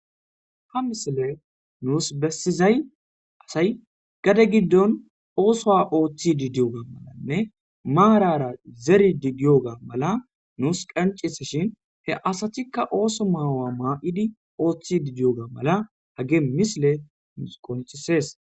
ha misile nuus bessizay asay gade giddon oosowa ooththidi diyoga malanne maarara zeri digiyoga mala nuus qancisa shin he asatikka ooso maawa maa7idi ooththi didiyoga mala hage misile misqontisees